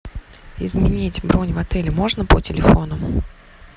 изменить бронь в отеле можно по телефону